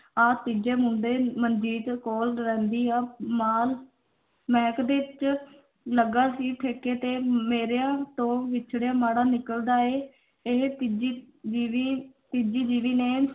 ਆ ਤੀਜੇ ਮੁੰਡੇ ਮਨਜੀਤ ਕੋਲ ਰਹਿੰਦੀ ਆ ਲੱਗਾ ਸੀ ਠੇਕੇ ਤੇ, ਮੇਰਿਆਂ ਤੋਂ ਵਿੱਛੜਿਆ ਮਾੜਾ ਨਿੱਕਲਦਾ ਏ, ਇਹ ਤੀਜੀ ਬੀਵੀ ਤੀਜੀ ਬੀਵੀ ਨੇ